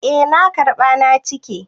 Eh na karɓa na cike.